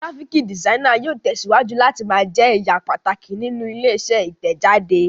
Gíráfíkì dìsainì yóò tẹ̀síwájú láti máa jẹ ẹ̀ya pàtàkì nínú ilé-iṣẹ́ Ìtẹ̀jáde.